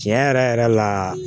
Tiɲɛ yɛrɛ yɛrɛ la